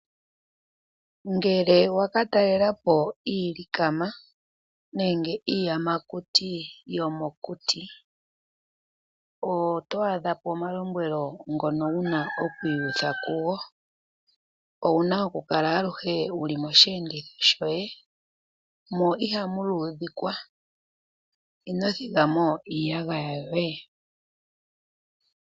Ngele waka talela po iilikama nenge iiyamakuti yomokuti , oto adha po omalombwelo ngono wuna okwiiyutha kugo. Owuna okukala aluhe wuli mosheenditho shoye mo ihamu luudhikwa. Ino thiga mo iiyagaya yoye.